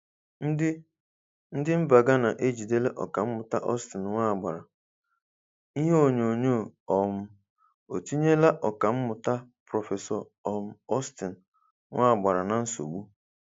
Ndi Ndi mba Ghana ejidela ọkanmuta Austin Nwagbara:Ihe onyonyo um etinyela ọkammụta Prof um Austin Nwagbara na nsogbu?